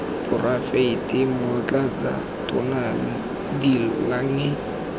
poraefete motlatsa tona de lange